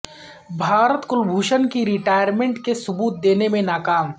بھارت کلبھوشن کی ریٹائرمنٹ کے ثبوت دینے میں ناکام